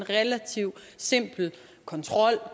relativt simpel kontrol